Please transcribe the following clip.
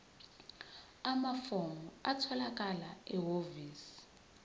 amafomu atholakala ehhovisi